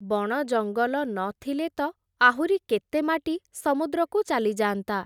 ବଣଜଙ୍ଗଲ ନଥିଲେ ତ, ଆହୁରି କେତେ ମାଟି ସମୁଦ୍ରକୁ ଚାଲିଯାଆନ୍ତା ।